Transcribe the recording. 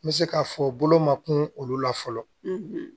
N bɛ se k'a fɔ bolo ma kun olu la fɔlɔ